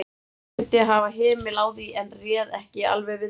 Reyndi að hafa hemil á því, en réð ekki alveg við mig.